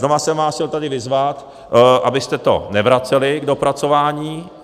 Znova jsem vás chtěl tady vyzvat, abyste to nevraceli k dopracování.